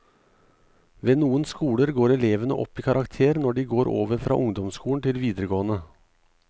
Ved noen skoler går elevene opp i karakter når de går over fra ungdomsskolen til videregående.